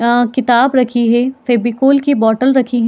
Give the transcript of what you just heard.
आ किताब रखी है फेविकोल की बॉटल रखी हैं।